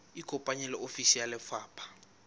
ikopanye le ofisi ya lefapha